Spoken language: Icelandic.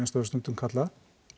það er stundum kallað